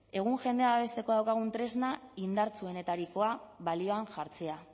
egun jendea babesteko daukagun tresna indartsuenetarikoa balioan jartzea